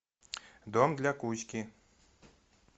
дом для кузьки